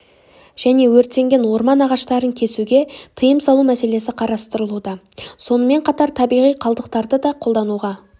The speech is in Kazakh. және өртенген орман ағаштарын кесуге тыйым салу мәселесі қарастырылуда сонымен қатар табиғи қалдықтарды да қолдануға